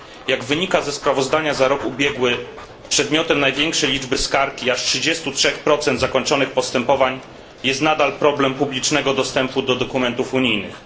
Jak wynika ze sprawozdania za rok ubiegły, przedmiotem największej liczby skarg i aż 33 zakończonych postępowań jest nadal problem publicznego dostępu do dokumentów unijnych.